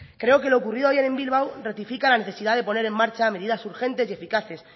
creo que lo ocurrido ayer en bilbao ratifica la necesidad de poner en marcha medidas urgentes y eficaces